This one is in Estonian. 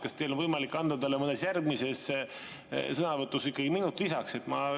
Kas teil on võimalik anda talle mõnes järgmises sõnavõtus minut lisaks?